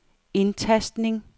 indtastning